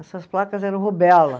Essas placas eram rubéola.